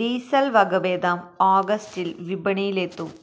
diesel വകഭേദം ഓഗസ്റ്റിൽ വിപണിയിലെത്തും